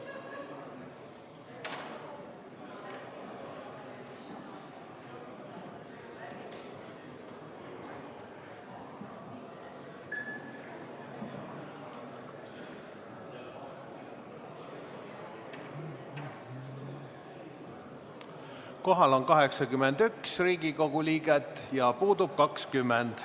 Kohal on 81 Riigikogu liiget ja puudub 20.